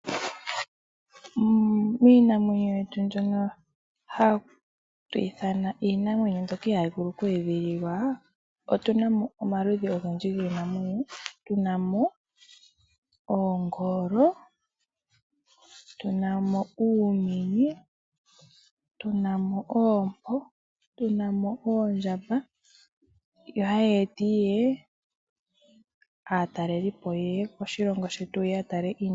Miinamwenyo yetu mbyoka hatu ithana kutya iinamwenyo mbyoka ihayi vulu oku edhililwa otu namo omaludhi ogendji giinamwenyo. Tuna mo oongolo, tuna mo uumenye, tuna mo oompo, tuna mo oondjamba. Yo hayi etiye aatalelipo yeye koshilongo shetu yeye yatale iinamwenyo.